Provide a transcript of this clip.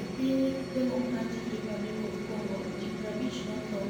E piniy Democratic Republic of Conigo, ji 50 notho